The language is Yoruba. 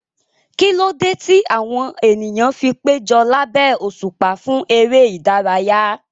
Kí ló dé tí àwọn ènìyàn fi péjọ lábẹ́ òṣùpá fún eré ìdárayá?